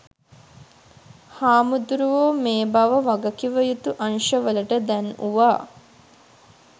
හාමුදුරුවෝ මේ බව වගකිවයුතු අංශ වලට දැන්වුවා.